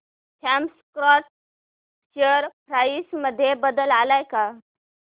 Thomas Scott share price मध्ये बदल आलाय का